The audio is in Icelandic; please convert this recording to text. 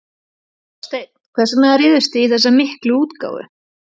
Þorsteinn, hvers vegna réðust þið í þessa miklu útgáfu?